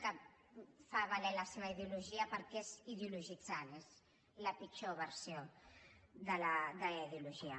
que fa valer la seva ideologia perquè és ideologitzant és la pitjor versió de la ideologia